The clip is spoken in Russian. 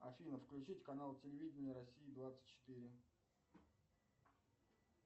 афина включить канал телевидения россия двадцать четыре